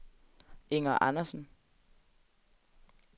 Inger Andersen